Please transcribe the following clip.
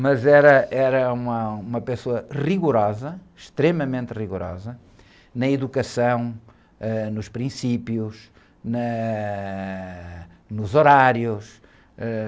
Mas era, era uma, uma pessoa rigorosa, extremamente rigorosa, na educação, ãh, nos princípios, na, ãh... Nos horários, ãh...